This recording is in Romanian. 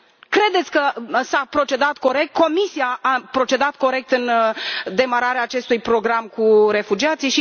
Credeți că s a procedat corect, că Comisia a procedat corect în demararea acestui program cu refugiații?